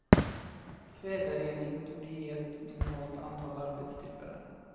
Kväverening torde ge ett minimalt antal arbetstillfällen.